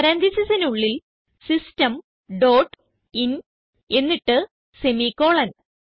പരാൻതീസിസിനുള്ളിൽ system dot in എന്നിട്ട് semicolon